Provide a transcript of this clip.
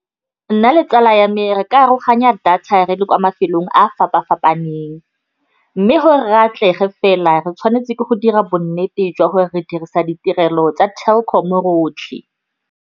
Nna le tsala ya me re ka aroganya data re le kwa mafelong a fapa-fapaneng, mme gore re atlege fela re tshwanetse ke go dira bonnete jwa gore re dirisa ditirelo tsa Telkom-o rotlhe.